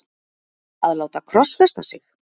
að láta krossfesta sig?